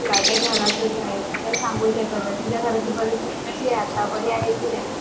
तुझ्या घराची कस आहे बरी आहे कि नाही